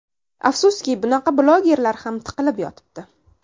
Afsuski, bunaqa blogerlar ham tiqilib yotibdi.